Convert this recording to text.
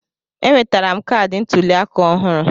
Enwetara m kaadị ntuli aka ọhụrụ.